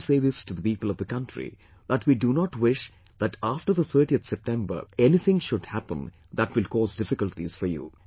I want to say this to the people of the country that we do not wish that after the 30th September anything should happen that will cause difficulties for you